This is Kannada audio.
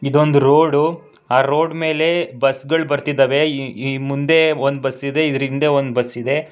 ಇದೊಂದು ರೋಡು ಆ ರೋಡ್ ಮೇಲೆ ಬಸ್ ಗಳ್ ಬರ್ತಿದ್ದಾವೆ ಇ- ಇ- ಮುಂದೆ ಒಂದ್ ಬಸ್ ಇದೆ ಇದ್ರಿಂದೆ ಒಂದ್ ಬಸ್ ಇದೆ.